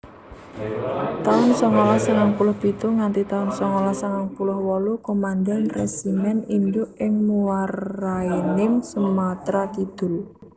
taun songolas sangang puluh pitu nganti taun songolas sangang puluh wolu Komandan Resimen Induk ing Muaraenim Sumatra Kidul